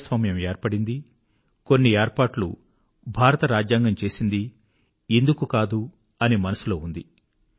ప్రజాస్వామ్యం ఏర్పడిందీ కొన్ని ఏర్పాట్లు భారతరాజ్యాంగం చేసిందీ ఇందుకు కాదు అని మనసులో ఉండింది